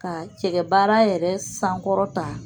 Ka cɛkɛbaara yɛrɛ sankɔrɔta